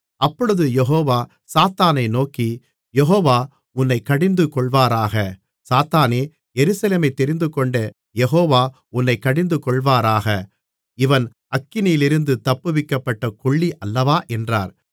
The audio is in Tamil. அப்பொழுது யெகோவா சாத்தானை நோக்கி யெகோவா உன்னைக் கடிந்துகொள்வாராக சாத்தானே எருசலேமைத் தெரிந்துகொண்ட யெகோவா உன்னைக் கடிந்துகொள்வாராக இவன் அக்கினியிலிருந்து தப்புவிக்கப்பட்ட கொள்ளி அல்லவா என்றார்